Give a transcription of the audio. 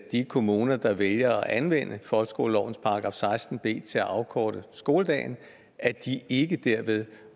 kommuner der vælger at anvende folkeskolelovens § seksten b til at afkorte skoledagen ikke derved